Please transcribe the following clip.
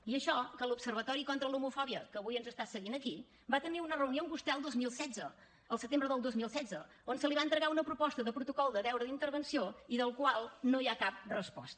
i això que l’observatori contra l’homofòbia que avui ens està seguint aquí va tenir una reunió amb vostè el dos mil setze el setembre del dos mil setze on se li va entregar una proposta de protocol de deure d’intervenció i del qual no hi ha cap resposta